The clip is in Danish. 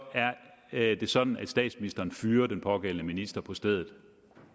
er det sådan at statsministeren fyrer den pågældende minister på stedet